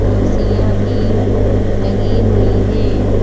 कुर्सियां भी लगी हुई हैं।